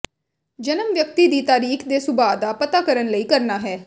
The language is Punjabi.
ਜਨਮ ਵਿਅਕਤੀ ਦੀ ਤਾਰੀਖ ਦੇ ਸੁਭਾਅ ਦਾ ਪਤਾ ਕਰਨ ਲਈ ਕਰਨਾ ਹੈ